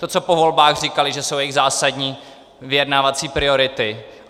To, co po volbách říkali, že jsou jejich zásadní vyjednávací priority.